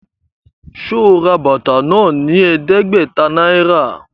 Ṣe o rà bàtà náà ní ẹdẹgbẹta náírà?